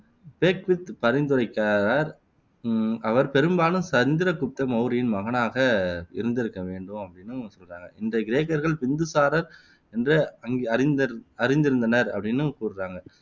Beckwith பரிந்துரைக்கிறார் உம் அவர் பெரும்பாலும் சந்திரகுப்த மௌரியரின் மகனாக இருந்திருக்க வேண்டும் அப்படின்னும் சொல்றாங்க இந்த கிரேக்கர்கள் பிந்துசாரர் என்று அங்க் அறிந்து அறிந்திருந்தனர் அப்படின்னும் கூறுறாங்க